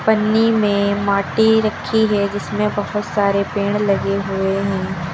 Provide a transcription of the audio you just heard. पन्नी में माटी रखी है जिसमें बहुत सारे पेड़ लगे हुए है।